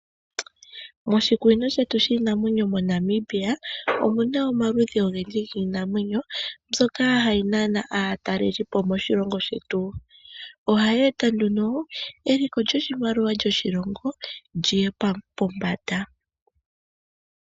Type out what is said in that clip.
Moshikunino shetu shinaamwenyo MoNamibia, omuna omaludhi ogendji giinamwenyo, mbyoka hayi nana aatalelipo moshilongo shetu. Ohayi eta nduno eliko lyoshimaliwa shoshilongo liye pombanda.